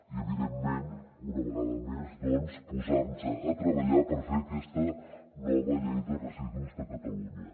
i evidentment una vegada més doncs posar nos a treballar per fer aquesta nova llei de residus de catalunya